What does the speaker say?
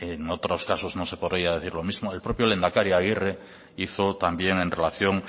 en otros casos no se podría decir lo mismo el propio lehendakari aguirre hizo también en relación